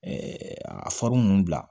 a ninnu bila